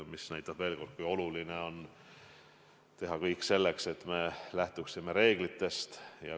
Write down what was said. Seega on väga oluline teha kõik selleks, et me lähtuksime reeglitest.